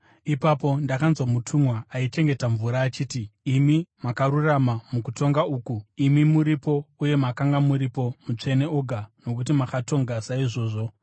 Ipapo ndakanzwa mutumwa aichengeta mvura achiti: “Imi makarurama mukutonga uku, imi muripo uye makanga muripo, Mutsvene Oga, nokuti makatonga saizvozvo;